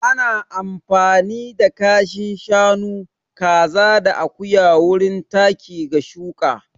Ana amfani da kashin shanu, kaza da akuya wurin taki ga shuƙa.